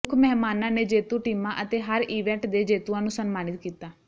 ਮੁੱਖ ਮਹਿਮਾਨਾਂ ਨੇ ਜੇਤੂ ਟੀਮਾਂ ਅਤੇ ਹਰ ਈਵੈਂਟ ਦੇ ਜੇਤੂਆਂ ਨੂੰ ਸਨਮਾਨਿਤ ਕੀਤਾ